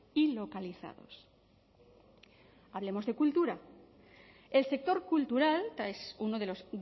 y localizados hablemos de cultura el sector cultural es uno de los